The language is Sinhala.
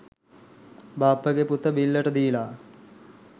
බාප්පගෙ පුත බිල්ලට දීල